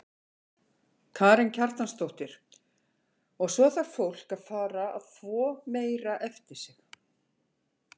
Karen Kjartansdóttir: Og svo þarf fólk að fara að þvo meira eftir sig?